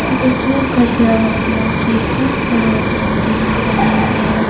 जिसमें कुछ लोग अपना ट्रीटमेंट कराते हुए दिख रहे हैं।